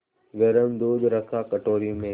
गरम दूध रखा कटोरी में